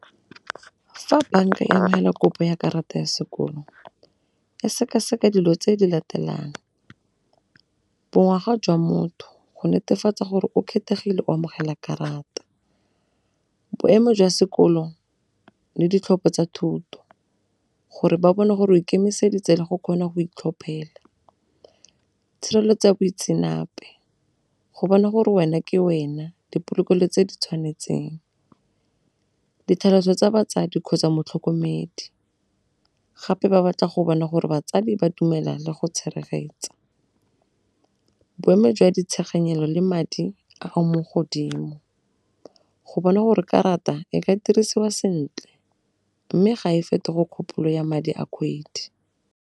Fa bank e neela kopo ya karata ya sekoloto e sekaseka dilo tse di latelang, bo ngwaga jwa motho go netefatsa gore o kgethegile go amogela karata, boemo jwa sekolo le ditlhopho tsa thuto gore ba bone gore o ikemiseditse le go kgona go itlhophela. Tshireletso ya boitseanape, go bona gore wena ke wena dipolokelo tse di tshwanetseng. Ditlhaloso tsa batsadi kgotsa motlhokomedi, gape ba batla go bona gore batsadi ba dumela le go . Boemo jwa ditsheganyelo le madi a mo godimo go bona gore karata e ka dirisiwa sentle mme ga e fetoge kgopolo ya madi a kgwedi.